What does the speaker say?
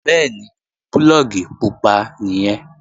Bẹ́ẹ̀ni, púlọ̀gì pupa nìyẹn